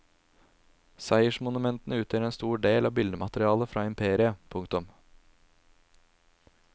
Seiersmonumentene utgjør en stor del av billedmaterialet fra imperiet. punktum